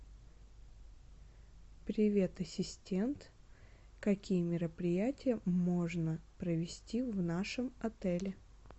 привет ассистент какие мероприятия можно провести в нашем отеле